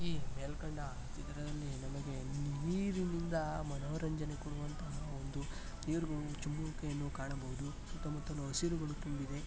ಈ ಮೇಲ್ಕಂಡ ಚಿತ್ರದಲ್ಲಿ ನಮಗೆ ನೀರಿನಿಂದ ಮನೋರಂಜನೆ ಕೊಡುವಂತಹ ಒಂದು ನೀರು ಚಿಮ್ಮುವಿಕೆಯನ್ನು ಕಾಣಬಹುದು. ಸುತ್ತಮುತ್ತಲು ಹಸಿರುಗಳು ತುಂಬಿದೆ .